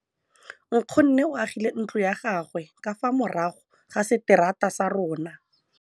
Nkgonne o agile ntlo ya gagwe ka fa morago ga seterata sa rona.